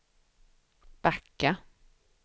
backa